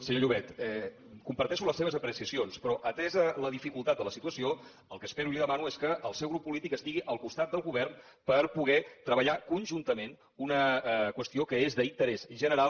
senyor llobet comparteixo les seves apreciacions però atesa la dificultat de la situació el que espero i li demano és que el seu grup polític estigui al costat del govern per poder treballar conjuntament una qüestió que és d’interès general